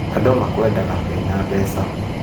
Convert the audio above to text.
Andũ makwendaga wĩna mbeca